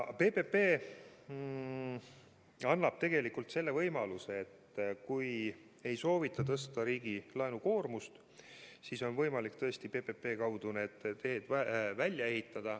PPP annab tegelikult selle võimaluse, et kui ei soovita tõsta riigi laenukoormust, siis on tõesti võimalik PPP-d rakendades teed välja ehitada.